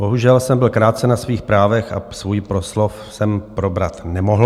Bohužel jsem byl krácen na svých právech a svůj proslov jsem probrat nemohl.